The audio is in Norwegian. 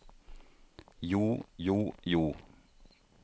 jo jo jo